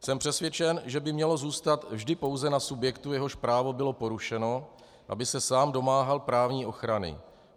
Jsem přesvědčen, že by mělo zůstat vždy pouze na subjektu, jehož právo bylo porušeno, aby se sám domáhal právní ochrany.